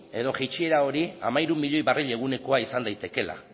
edo jaitsiera hori hamairu milioi barril egunekoa izan daitekeela